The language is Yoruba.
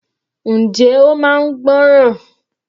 Njẹ́ ó máa ń gbọ́ràn.